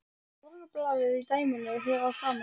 Morgunblaðið í dæminu hér að framan.